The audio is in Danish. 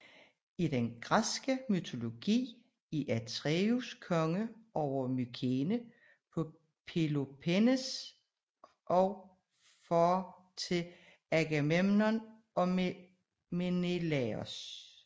I den græske mytologi er Atreus konge over Mykene på Peloponnes og far til Agamemnon og Menelaos